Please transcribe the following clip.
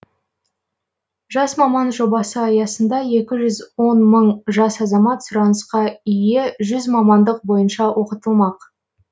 жас маман жобасы аясында екі жүз он мың жас азамат сұранысқа ие жүз мамандық бойынша оқытылмақ